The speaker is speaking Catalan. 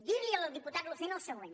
dir al diputat lucena el següent